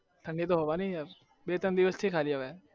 ઠંડી તો હોવાની બે ત્રણ દિવસ થી